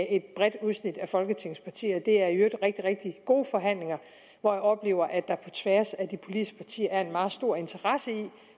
et bredt udsnit af folketingets partier det er i øvrigt rigtig rigtig gode forhandlinger hvor jeg oplever at der på tværs af de politiske partier er en meget stor interesse i